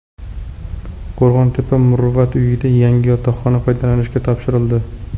Qo‘rg‘ontepa Muruvvat uyida yangi yotoqxona foydalanishga topshirildi.